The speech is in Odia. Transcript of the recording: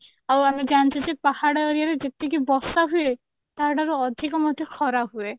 ଆଉ ଆମେ ଜାଣିଛୁ ଯେ ପାହାଡ area ରେ ଯେତିକି ବର୍ଷା ହୁଏ ତା ଠାରୁ ଅଧିକ ମଧ୍ୟ ଖରା ହୁଏ